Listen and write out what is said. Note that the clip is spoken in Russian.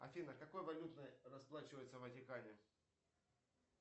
афина какой валютой расплачиваться в ватикане